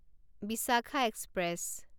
Bishakha express